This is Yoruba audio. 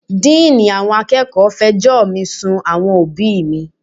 Díìní àwọn akẹ́kọ̀ọ́ fẹjọ́ mi sun àwọn òbíì mi.